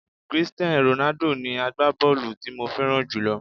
Christian Ronaldo ni agbábọ́ọ̀lù tí mo fẹ́ràn jùlọ